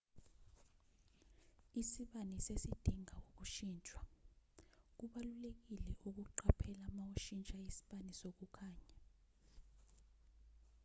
isibani sesidinga ukushintshwa kubalulekile ukuqaphela mawushintsha isibani sokukhanya